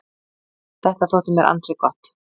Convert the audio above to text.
Þetta þótti mér ansi gott.